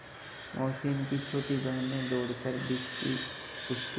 मोहसिन की छोटी बहन ने दौड़कर भिश्ती उसके